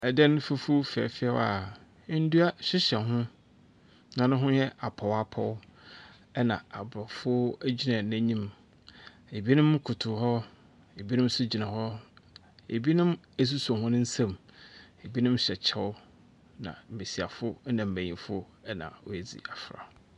Dan fufuw fɛɛfɛw a ndua hyehyɛ ho na no ho yɛ apɔwapɔw na aborɔfo gyina n’enyim. Binom kotow hɔ, binom do gyina hɔ, binom asusuo hɔn nsa mu, binom hyɛ kyɛw. Na mbasiafo na mbanyin na woedzi afora.